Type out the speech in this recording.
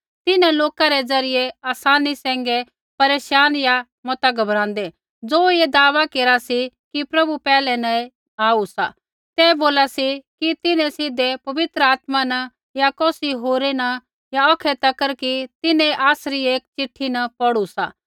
तिन्हां लोका रै ज़रियै आसानी सैंघै परेशान या मता घबराँदै ज़ो ऐ दावा केरा सी कि प्रभु पैहलै न ही आऊ सा ते बोली सका सी कि तिन्हैं सीधै पवित्र आत्मा न या कौसी होरा न या औखै तक कि तिन्हैं ऐ आसरी एक चिट्ठी न पौढ़ू सा